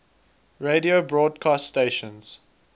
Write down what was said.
radio broadcast stations